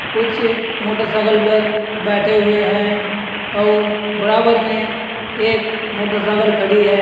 कुछ मोटरसाइकल पर बैठे हुए हैं और बराबर में एक मोटासाकल खड़ी है।